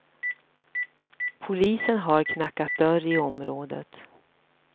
Polisen har knackat dörr i området.